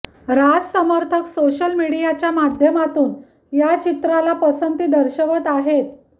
राज समर्थक सोशल मीडियाच्या माध्यमातून या चित्राला पसंती दर्शवत आहेत